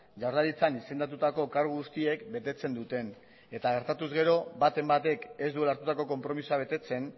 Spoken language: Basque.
jaurlaritzan izendatutako kargu guztiek betetzen duten eta gertatu ezkero baten batek ez duela hartutako konpromisoa betetzen